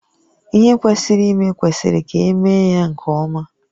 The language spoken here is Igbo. Ihe kwesịrị ime kwesịrị ka emee ya nke ọma